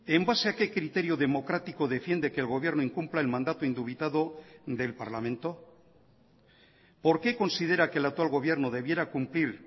en base a qué criterio democrático defiende que el gobierno incumpla el mandato indubitado del parlamento por qué considera que el actual gobierno debiera cumplir